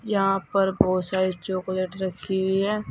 यहां पर बहुत सारी चॉकलेट रखी हुई हैं।